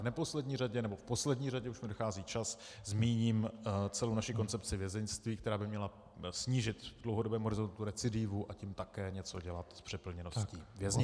V neposlední řadě - nebo v poslední řadě, už mi dochází čas, zmíním celou naši koncepci vězeňství, která by měla snížit v dlouhodobém horizontu recidivu, a tím také něco dělat s přeplněností věznic.